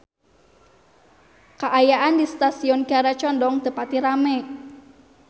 Kaayaan di Stasiun Kiara Condong teu pati rame